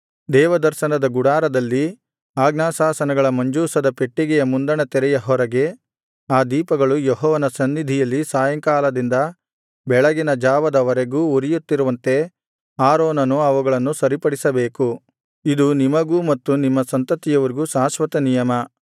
ದೇವದರ್ಶನದ ಗುಡಾರದಲ್ಲಿ ಆಜ್ಞಾಶಾಸನಗಳ ಮಂಜೂಷದ ಪೆಟ್ಟಿಗೆಯ ಮುಂದಣ ತೆರೆಯ ಹೊರಗೆ ಆ ದೀಪಗಳು ಯೆಹೋವನ ಸನ್ನಿಧಿಯಲ್ಲಿ ಸಾಯಂಕಾಲದಿಂದ ಬೆಳಗಿನ ಜಾವದ ವರೆಗೂ ಉರಿಯುತ್ತಿರುವಂತೆ ಆರೋನನು ಅವುಗಳನ್ನು ಸರಿಪಡಿಸಬೇಕು ಇದು ನಿಮಗೂ ಮತ್ತು ನಿಮ್ಮ ಸಂತತಿಯವರಿಗೂ ಶಾಶ್ವತನಿಯಮ